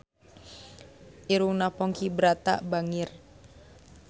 Irungna Ponky Brata bangir